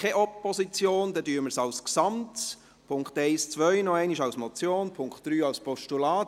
Wie gesagt, die Punkte 1 und 2 liegen als Motion vor und der Punkt 3 als Postulat.